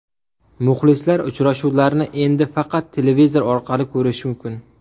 Muxlislar uchrashuvlarni endi faqat televizor orqali ko‘rishi mumkin .